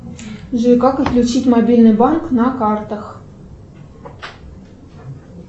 джой как отключить мобильный банк на картах